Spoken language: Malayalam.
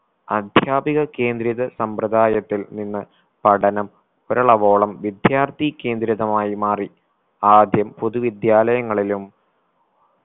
അദ്ധ്യാപിക കേന്ദ്രിത സമ്പ്രതായത്തിൽ നിന്ന് പഠനം ഒരിളവോളം വിദ്യാർത്ഥി കേന്ദ്രിതമായി മാറി ആദ്യം പൊതു വിദ്യാലയങ്ങളിലും